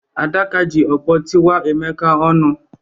Adaka ji ọkpọ tiwaa Emeka ọnụ.